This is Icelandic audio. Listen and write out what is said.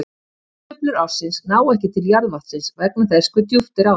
hitasveiflur ársins ná ekki til jarðvatnsins vegna þess hve djúpt er á því